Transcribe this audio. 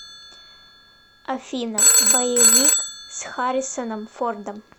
афина боевик с хариссоном фордом